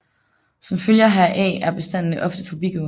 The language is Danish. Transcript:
Som følge heraf er bestandene ofte forbigående